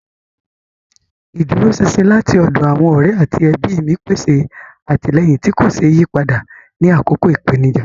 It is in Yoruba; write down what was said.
Ìdúróṣinṣin láti ọ̀dọ̀ àwọn ọ̀rẹ́ àti ẹbí mi pèsè àtìlẹ́yìn tí kò ṣeé yí padà ní àkókò ìpèníjà.